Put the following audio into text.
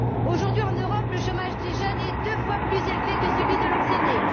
Aujourd'hui, en Europe, le chômage des jeunes est deux fois plus élevé que celui de leurs aînés.